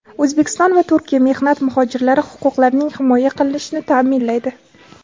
O‘zbekiston va Turkiya mehnat muhojirlari huquqlarining himoya qilinishini ta’minlaydi.